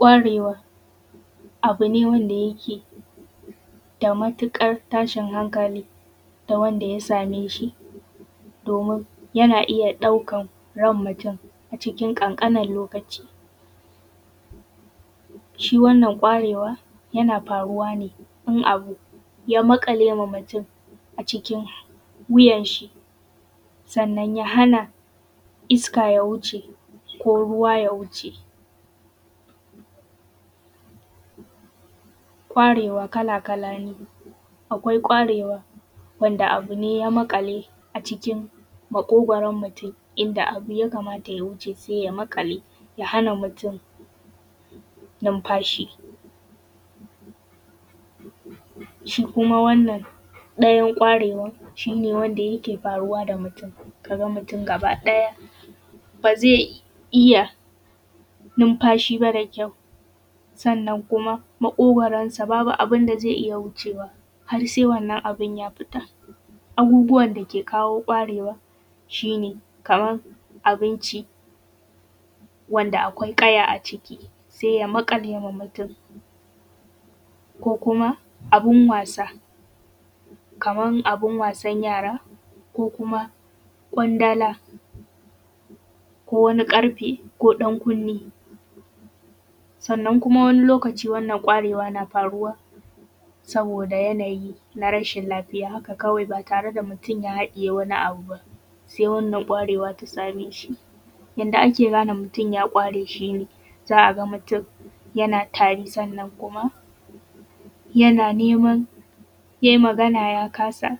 ƙwarewa abu ne wanda yake da matuƙar tashin hankali da wanda ya same shi domin yana iya ɗaukan ran mutum a cikin ƙanƙanin lokaci, shi wannan ƙwarewa yana faruwa ne in abu ya maƙale ma mutum a cikin wuyan shi sannan ya hana iska ya wuce ko ruwa ya wuce ƙwarewa kala kala ne, akwai ƙwarewa wanda abu ne ya maƙale a cikin maƙugoron mutum inda abu ya kamata ya wuce sai ya maƙale ya hanan mutum numfashi, shi kuma wannan ɗayan ƙwarewan shi ne wanda yake faruwa da mutum kaga mutum gaba ɗaya ba zai iya numfashi ba da kyau sannan kuma maƙogoronsa babu abun da zai ia wucewa har sai wannan abin ya fita, abubuwan dake kawo ƙwarewa shi ne kaman abinci wanda akwai ƙaya a ciki sai ya maƙale ma mutum ko kuma abun wasa kaman abun wasan yara ko kuma ƙwandala ko wani ƙarfe ko ɗankunni, sannan kuma wani lokaci wannan ƙwarewa na faruwa saboda yanayi na rashin lafiya haka kawai ba tare da mutum ya haɗiye wani abu ba sai wannan ƙwarewa ta same shi yanda ake gane mutum ya ƙware shi ne, za a ga mutum yana tari sannan kuma yana neman yayi Magana ya kasa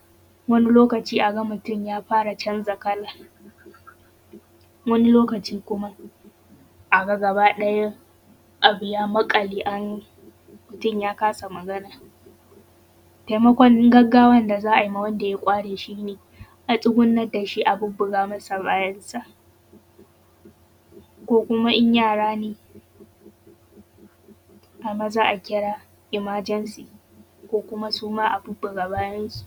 wani lokaci a ga mutum ya fara canza kala, wani lokaci a ga gaba ɗaya abu ya maƙale ainin mutum ya kasa Magana, taimakon gaggawan da za ai ma wanda ya ƙware shi ne a tsugunnan da shi a bubbuga masa bayansa ko kuma in yara ne ai maza a kira “emergency” ko kuma suma a bubbuga bayansu.